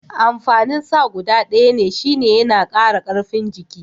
Amfanin sa guda ɗaya ne shine yana kara karfin jiki.